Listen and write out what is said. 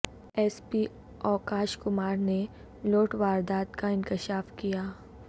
S P Akash Kumar نے لوٹ واردات کا انکشاف کیا